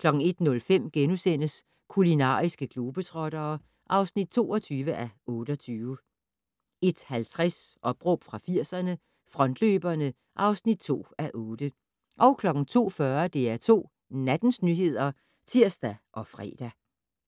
01:05: Kulinariske globetrottere (22:28)* 01:50: Opråb fra 80'erne - Frontløberne (2:8) 02:40: DR2 Nattens nyheder (tir og fre)